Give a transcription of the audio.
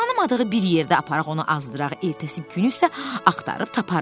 Tanımadığı bir yerdə aparaq, onu azdıraq, ertəsi günü isə axtarıb taparıq.